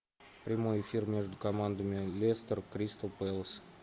прямой эфир между командами лестер кристал пэлас